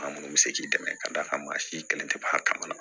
Maa munnu bɛ se k'i dɛmɛ k'a d'a kan maa si kelen tɛ b'a kama